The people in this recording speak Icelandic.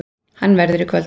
Hann verður í kvöld.